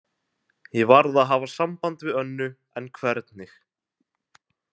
Ég varð að hafa samband við Önnu, en hvernig?